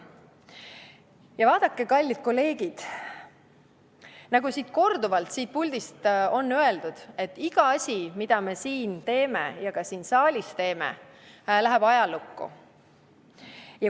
Ja vaadake, kallid kolleegid, nagu korduvalt siit puldist on öeldud, et iga asi, mida me teeme ja ka siin saalis teeme, läheb ajalukku.